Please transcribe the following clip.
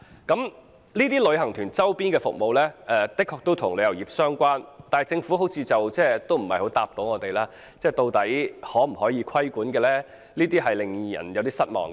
這些旅行團周邊的服務的確與旅遊業相關，但政府似乎無法回答究竟可否規管這類服務，令人有點失望。